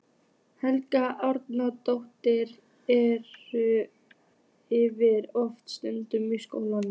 Helga Arnardóttir: Er ykkur oft skutlað í skólann?